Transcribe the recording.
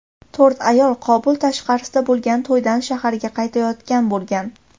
To‘rt ayol Qobul tashqarisida bo‘lgan to‘ydan shaharga qaytayotgan bo‘lgan.